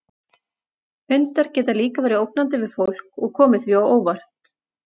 Hundar geta líka verið ógnandi við fólk og komið því á óvart.